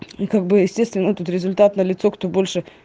и как бы естественно тут результат на лицо кто больше